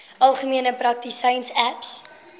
algemene praktisyns aps